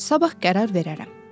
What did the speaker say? Sabah qərar verərəm.